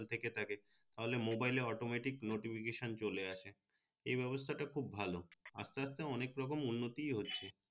থেকে থাকে তা হলে মোবাইলে automatic notification চলে আসে এই ব্যবস্থা টা খুব ভালো আস্তে আস্তে অনেক রকম উন্নতি হচ্ছে